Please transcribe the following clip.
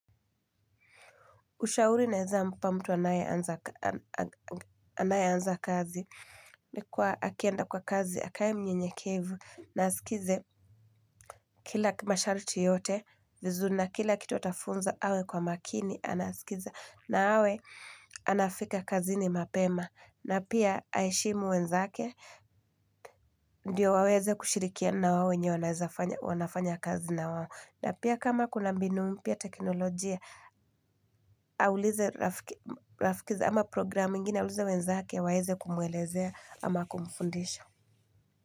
Ushauri naeza mpa mtu anayeanza anayeanza kazi ni kuwa akienda kwa kazi, akae mnyenyekevu, na asikilize kila masharti yote, vizuri na kila kitu atafunzwa, awe kwa makini anasikiza, na awe anafika kazini mapema. Na pia aheshimu wenzake, ndiyo waweze kushirikiana na wale wenye wanafanya kazi na wao. Na pia kama kuna mbinu mpya teknolojia, aulize rafiki ama programu ingine, aulize wenzake waweze kumwelezea ama kumfundisha.